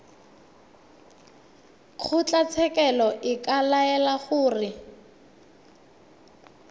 kgotlatshekelo e ka laela gore